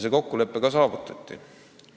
See kokkulepe ka saavutati.